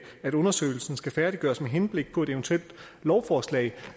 at undersøgelsen skal færdiggøres med henblik på et eventuelt lovforslag